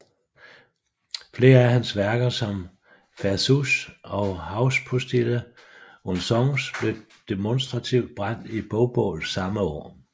Flere af hans værker som Versuche og Hauspostille und Songs blev demonstrativt brændt i bogbål samme år